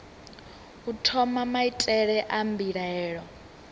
u thoma maitele a mbilaelo